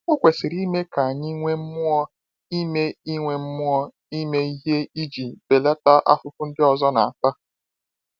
Ọ kwesịrị ime ka anyị nwee mmụọ ime nwee mmụọ ime ihe iji belata afụfụ nke ndị ọzọ na-ata.